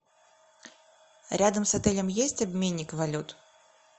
рядом с отелем есть обменник валют